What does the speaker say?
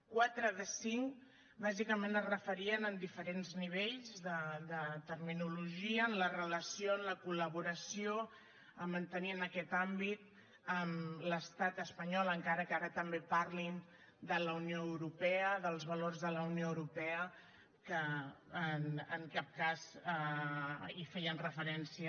quatre de cinc bàsicament es referien en diferents nivells de terminologia en la relació en la col·laboració a mantenir en aquest àmbit amb l’estat espanyol encara que ara també parlin de la unió europea dels valors de la unió europea que en cap cas hi feien referència